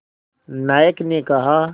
नायक ने कहा